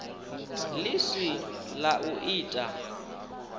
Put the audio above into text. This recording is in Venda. ḽi si ḽa u ita